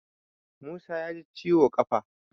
Musa ya ji ciwo ƙafa